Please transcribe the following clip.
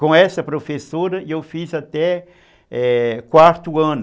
Com essa professora, eu fiz até, é, o quarto ano